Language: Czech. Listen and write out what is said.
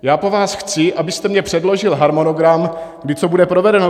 Já po vás chci, abyste mi předložil harmonogram, kdy co bude provedeno.